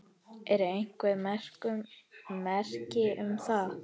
Eru einhver merki um það?